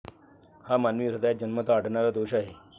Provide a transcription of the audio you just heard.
हा मानवी हृदयात जन्मतः आढळणारा दोष आहे.